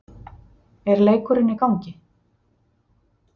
er leikurinn í gangi?